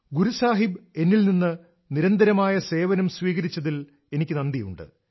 ഗുരു സാഹിബ് എന്നിൽ നിന്ന് നിരന്തരമായ സേവനം സ്വീകരിച്ചതിൽ എനിക്ക് നന്ദിയുണ്ട്